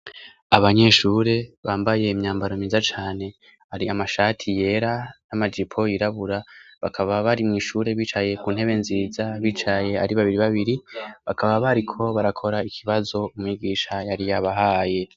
Abanyeshure bambaye imyambaro myiza cane. Hari amashati yera n'amajipo yirabura. Bakaba bari mw' ishure bicaye ku ntebe nziza, bicaye ari babiri babiri, Bakaba bariko barakora ikibazo umwigisha yari yabahaye.